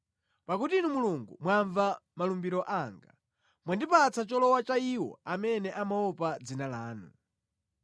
Pakuti Inu Mulungu mwamva malumbiro anga; mwandipatsa cholowa cha iwo amene amaopa dzina lanu.